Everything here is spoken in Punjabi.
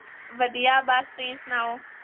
ਵਧੀਆ ਬਸ, ਤੁਸੀ ਸੁਣਾਓ?